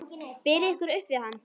Berið ykkur upp við hann!